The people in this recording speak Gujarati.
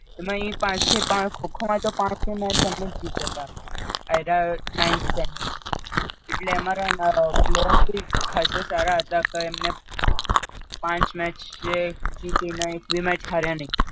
એમાઈ પાંચ ને ત્રણ ખો ખો મતો પાંચે match અમે જ જીત્યા હતા Ninth Standard માં એટલે અમરા player ભી ખાંસા સારા હતા તો એમને પાંચ match જીતી ને એક ભી match હાર્યા નઇ